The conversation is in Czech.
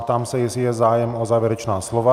Ptám se, jestli je zájem o závěrečná slova?